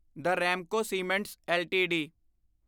the Ramco cements LTD